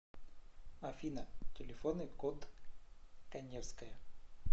афина телефонный код каневская